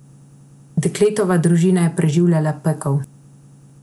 Dekletova družina je preživljala pekel.